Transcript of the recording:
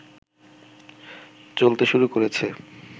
চলতে শুরু করেছে